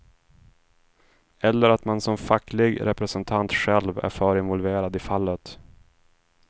Eller att man som facklig representant själv är för involverad i fallet.